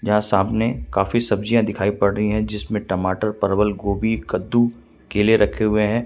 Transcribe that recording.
यहां सामने काफी सब्जियां दिखाई पड़ रही हैं जिसमें टमाटर परवल गोभी कद्दू केले रखे हुएं हैं।